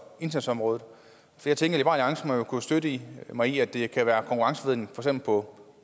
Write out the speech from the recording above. indsatsområdet jeg tænker at kunne støtte mig i at det kan være konkurrenceforvridende på